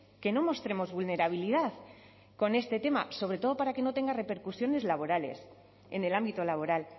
que no mostremos vulnerabilidad con este tema sobre todo para que no tenga repercusiones laborales en el ámbito laboral